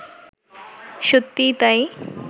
সত্যিই তাই